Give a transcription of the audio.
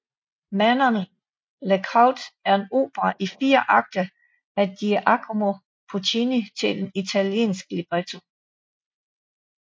Manon Lescaut er en opera i fire akter af Giacomo Puccini til en italiensk libretto